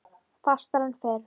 Fastar en fyrr.